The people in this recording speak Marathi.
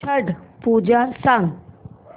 छट पूजा सांग